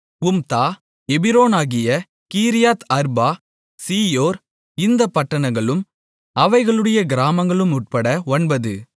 Humtah எபிரோனாகிய Kiriath Arba Zior இந்தப் பட்டணங்களும் அவைகளுடைய கிராமங்களும் உட்பட ஒன்பது